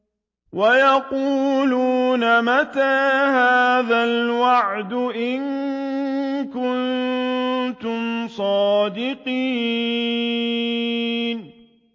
وَيَقُولُونَ مَتَىٰ هَٰذَا الْوَعْدُ إِن كُنتُمْ صَادِقِينَ